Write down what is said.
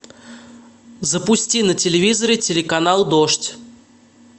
запусти на телевизоре телеканал дождь